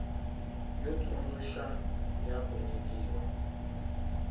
yo tsundzuxa ya ku nyikiwa